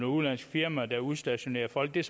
udenlandsk firma der udstationerer folk det er